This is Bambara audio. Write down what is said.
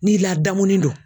N'i ladamuni do